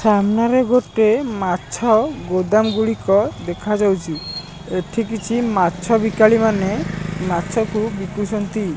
ସାମ୍ନାରେ ଗୋଟେ ମାଛ ଗୋଦାମ ଗୁଡ଼ିକ ଦେଖା ଯାଉଛି ଏଠି କିଛି ମାଛ ବିକାଳୀ ମାନେ ମାଛ କୁ ବିକୁଛନ୍ତି।